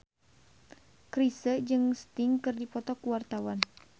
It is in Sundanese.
Chrisye jeung Sting keur dipoto ku wartawan